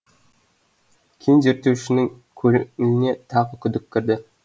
кен зерттеушінің көңіліне тағы күдік кірді